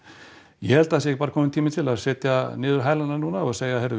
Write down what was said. ég held að það sé bara kominn tími til að setja niður hælana núna og segja heyrðu við